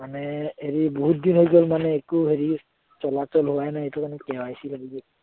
মানে হেৰি বহুত দিন হৈ গল মানে একো হেৰি চলাচল হোৱাই নাই এইটো কাৰণে KYC লাগিব